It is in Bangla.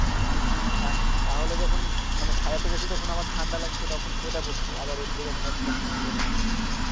হ্যা তাহলে যখন মানে সারাটা দেশে তখন আবার ঠান্ডা লাগছে তখন সোয়েটার পরছি আবার রোদ্দরে যখন যাচ্ছি তখন আর পরে থাকতে পারছি না